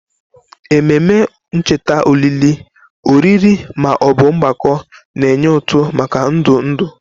Ememe ncheta olili, oriri, ma ọ bụ mgbakọ na-enye ụtụ maka ndụ ndụ.